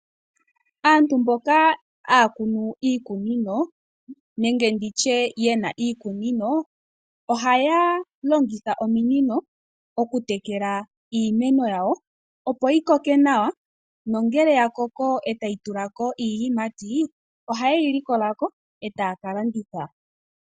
Aantu mboka ha ya kunu iikunino, nenge nditye yena iikunino, oha ya longitha ominino oku tekela iimeno ya wo opo yi koke nawa, no ngele ya koko ata yi tulako iiyimati, oha ye yi li ko lako eta ya kalanditha.